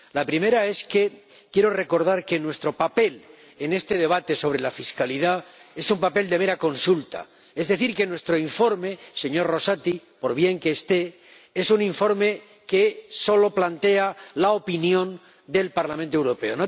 La primera es que quiero recordar que nuestro papel en este debate sobre la fiscalidad es un papel de mera consulta, es decir, que nuestro informe, señor Rosati, por bien que esté, es un informe que solo plantea la opinión del Parlamento Europeo.